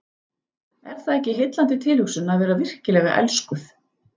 Er það ekki heillandi tilhugsun að vera virkilega elskuð?